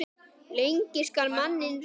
Lengi skal manninn reyna.